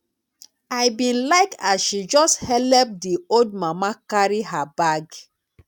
i bin like as she just helep di old mama carry her bag